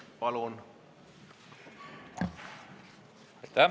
Palun!